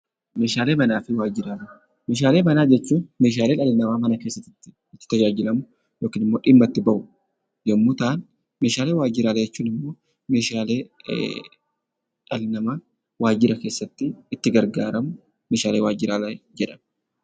Meeshaalee manna fi waajjiraalee. Meeshaalee manna jechuun meehaalee dhali nama mana keessatti itti tajaajilammuu yookaan immoo dhimaa itti ba'uu yommuu ta'aan, meeshaalee waajjiraalee jechuun immoo dhali nama waajjirra keessatti itti gargaramuu meeshaalee waajjirraa jedhama.